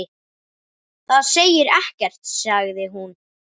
Það segir ekkert sagði hún.